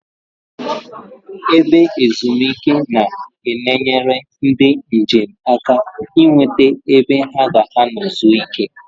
Ebe ezumike na-eneyere ndi njem aka I nweta ebe ha ga-ano zuo ike